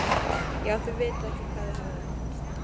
Já, þið vitið ekki hvað þið hafið það gott.